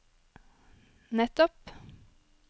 nettopp